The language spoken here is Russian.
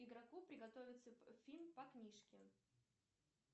игроку приготовиться фильм по книжке